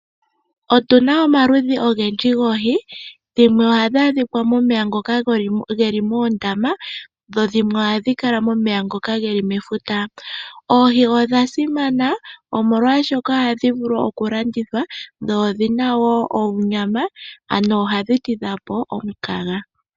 Otuna omaludhi ogendji goohi dhimwe ohadhi adhika momeya ngoka geli moondama dho dhimwe ohadhi kala momeya geli mefuta. Oohi odha simana omolwashoka ohadhi vulu oku landithwa dho odhina onyama ohadhi tidha po omukaga.